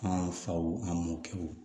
An faw an mɔkɛw